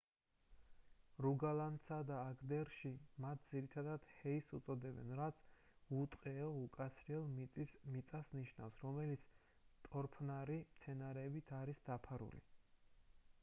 რუგალანსა და აგდერში მათ ძირითადად hei -ს უწოდებენ რაც უტყეო უკაცრიელ მიწას ნიშნავს რომელიც ტორფნარი მცენარეებით არის დაფარული